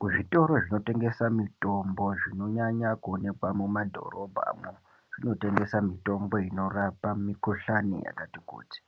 Kuzvitoro zvinotengesa mitombo zvinonyanya kuonekwa kumadhorobhamwo zvinotengesa mitombo inorapa mikhuhlani yakati kuti,